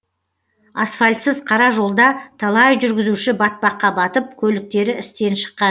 асфальтсыз қара жолда талай жүргізуші батпаққа батып көліктері істен шыққан